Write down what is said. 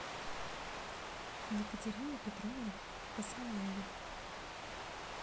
екатерина петровна басалаева